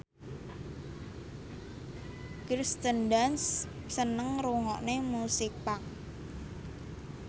Kirsten Dunst seneng ngrungokne musik punk